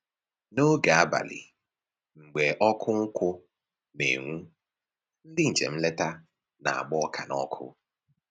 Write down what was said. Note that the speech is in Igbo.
N'oge abalị mgbe ọkụ nkụ na-enwu, ndị njem nleta na-agba ọka n'ọkụ